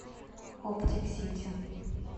оптик сити